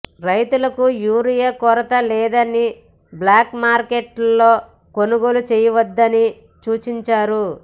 రైతులకు యూరియా కొరత లేదని బ్లాక్ మార్కెట్లో కొనుగోలు చేయవద్దని సూచించారు